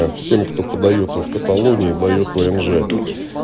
ээ всем кто поддаётся в каталонии дают внж